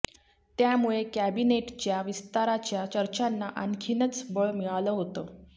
त्यामुळे कॅबिनेटच्या विस्ताराच्या चर्चांना आणखीनच बळ मिळालं होतं